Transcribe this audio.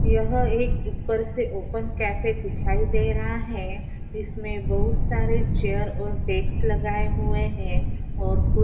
यह एक ऊपर से ओपन कॅफे दिखाई दे रहा है। इसमे बहुत सारे चेयर और डेक्स लगाए हुए है। और--